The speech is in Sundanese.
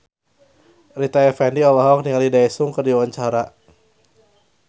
Rita Effendy olohok ningali Daesung keur diwawancara